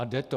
A jde to.